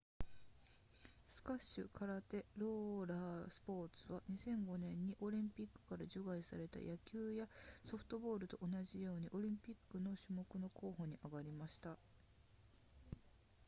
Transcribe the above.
スカッシュ空手ローラースポーツは2005年にオリンピックから除外された野球やソフトボールと同じようにオリンピック種目の候補に挙がりました